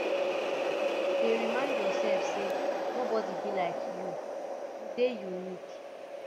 dey remind yourself say no body be like you you dey unique